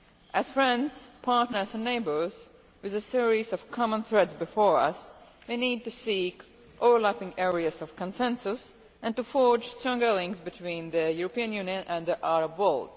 As friends, partners and neighbours, with a series of common threats before us, we need to seek overlapping areas of consensus and to forge stronger links between the European Union and the Arab world.